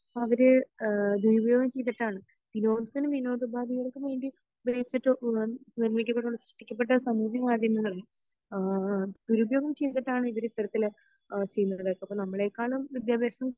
അവർ ഏഹ് ദുരുപയോഗം ചെയ്തിട്ടാണ് വിനോദത്തിനും വിനോദോപാദികൾക്കും വേണ്ടി ഉപയോഗിച്ചിട്ട് ഏഹ് നിർമിക്കപ്പെട്ട സൃഷ്ടിക്കപ്പെട്ട സമൂഹ മാധ്യമങ്ങളും ആഹ് ദുരുപയോഗം ചെയ്തിട്ടാണ് ഇവർ ഇത്തരത്തിൽ അഹ് ചെയ്യുന്നത് അപ്പൊ നമ്മെളെക്കാളും വിദ്യാഭ്യാസം